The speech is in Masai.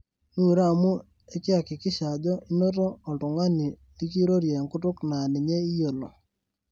miure amu ekiakikisha ajo inoto olytungani likirorie enkutuk naa ninye iyiolo